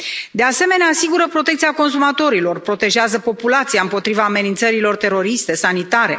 De asemenea, asigură protecția consumatorilor, protejează populația împotriva amenințărilor teroriste, sanitare.